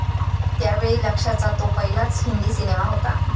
त्यावेळी लक्ष्याचा तो पहिलाच हिंदी सिनेमा होता.